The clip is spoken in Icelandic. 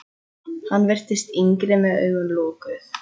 Hann virtist yngri með augun lokuð.